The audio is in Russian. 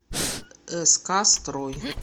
ск строй